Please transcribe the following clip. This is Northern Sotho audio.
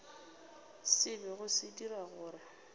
se bego se dira gore